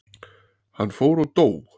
Hann fór og dó.